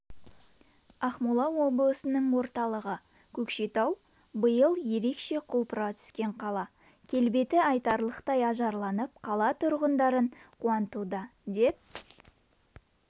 ақмола облысының орталығы көкшетау биыл ерекше құлпыра түскен қала келбеті айтарлықтай ажарланып қала тұрғындарын қуантуда деп